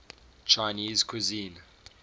chinese cuisine